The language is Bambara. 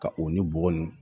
Ka o ni bɔgɔ nin